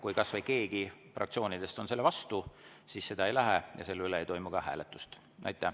Kui kas või keegi fraktsioonidest on vastu, siis seda ei tehta ja selle üle ei toimu ka hääletust.